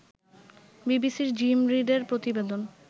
বিবিসির জিম রিডের প্রতিবেদন